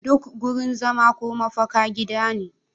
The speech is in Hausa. Duk wurin zama ko mafaka gida ne